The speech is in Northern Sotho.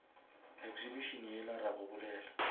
exhibition yela ra go bolela